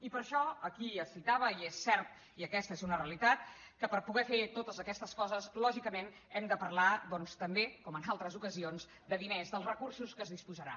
i per això aquí es citava i és cert i aquesta és una realitat que per poder fer totes aquestes coses lògicament hem de parlar doncs també com en altres ocasions de diners dels recursos de què es disposarà